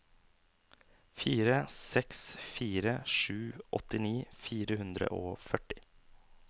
fire seks fire sju åttini fire hundre og førti